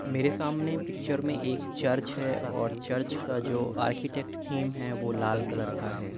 मेरे सामने पिक्चर में एक चर्च है और चर्च का जो आर्किटेक थीम है वो लाल कलर का है ।